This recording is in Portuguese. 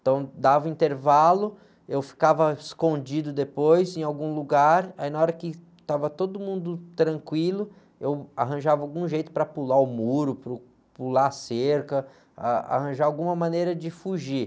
Então dava intervalo, eu ficava escondido depois em algum lugar, aí na hora que estava todo mundo tranquilo, eu arranjava algum jeito para pular o muro, para eu pular a cerca, ah, arranjar alguma maneira de fugir.